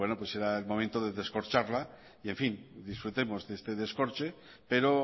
será el momento de descorcharla disfrutemos de este descorche pero